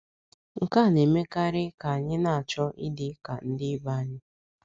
Nke a na - emekarị ka anyị na - achọ ịdị ka ndị ibe anyị.